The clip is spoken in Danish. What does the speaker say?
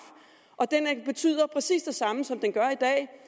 og den betyder præcis det samme som den gør i dag